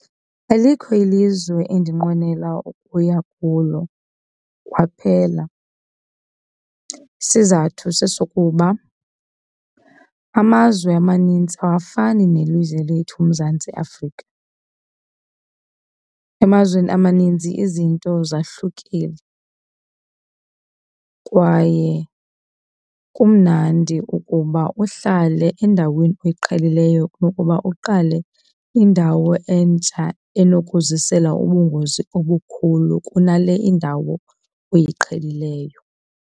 Alikho ilizwe endinqwenela ukuya kulo kwaphela. Isizathu sesokuba amazwe amaninzi awafani nelizwe lethu uMzantsi Afrika. Emazweni amaninzi izinto zahlukile kwaye kumnandi ukuba uhlale endaweni oyiqhelileyo kunokuba uqale indawo entsha enokuzisela ubungozi obukhulu kunale indawo oyiqhelileyo.